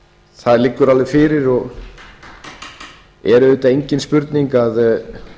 það liggur alveg fyrir og er auðvitað engin spurning að